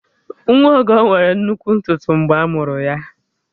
Nwa Ọgọ nwere nnukwu ntutu mgbe a mụrụ ya